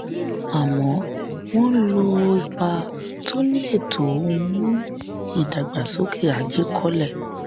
àmọ́ wọ́n ò lò ó ipa tó ní ètò ọ̀hún mú ìdàgbàsókè ajé kọlẹ̀.